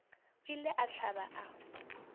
a ile a hlaba a